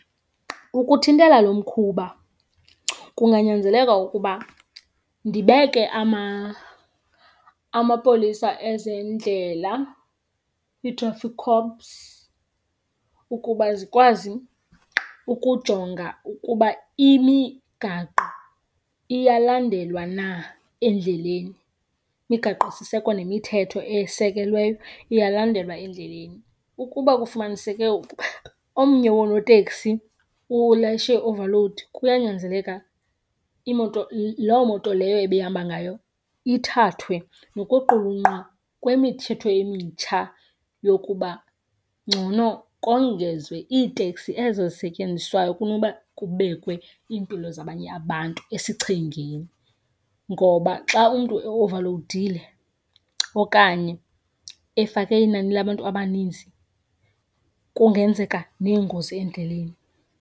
Ukuthintela lo mkhuba kunganyanzeleka ukuba ndibeke amapolisa ezendlela, i-traffic cops, ukuba zikwazi ukujonga ukuba imigaqo iyalandelwa na endleleni, imigaqosiseko nemithetho esekelweyo iyalandelwa endleleni. Ukuba kufumaniseke omnye wonooteksi ulayishe i-overload, kuyanyanzeleka imoto, loo moto leyo ebehamba ngayo ithathwe nokuqulunqwa kwemithetho emitsha yokuba ngcono kongezwe iiteksi ezo zisetyenziswayo kunoba kubekwe iimpilo zabanye abantu esichengeni. Ngoba xa umntu eovalowudile okanye efake inani labantu abaninzi kungenzeka neengozi endleleni.